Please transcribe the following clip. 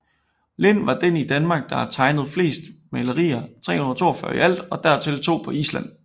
Lind var den i Danmark der har tegnet fleste mejerier 342 i alt og dertil to på Island